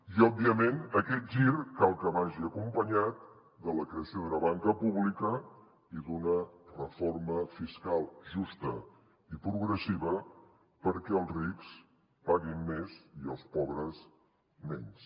i òbviament aquest gir cal que vagi acompanyat de la creació d’una banca pública i d’una reforma fiscal justa i progressiva perquè els rics paguin més i els pobres menys